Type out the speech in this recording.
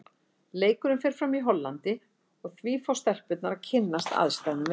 Leikurinn fer fram í Hollandi og því fá stelpurnar að kynnast aðstæðum vel.